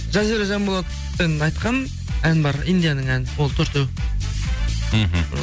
жазира жанболатпен айтқан ән бар индияның әні болды төртеу мхм